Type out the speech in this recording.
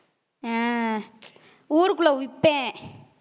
ஆஹ் ஊருக்குள்ள விப்பேன்